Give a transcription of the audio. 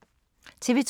TV 2